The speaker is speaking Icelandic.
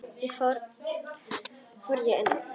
Þá fór ég inn.